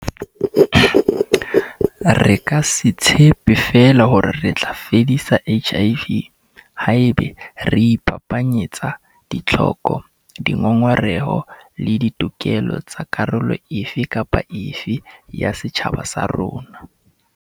Re ka se tshepe feela hore re tla fedisa HIV haeba re iphapanyetsa ditlhoko, dingongoreho le ditokelo tsa karolo e fe kapa e fe ya setjhaba sa rona.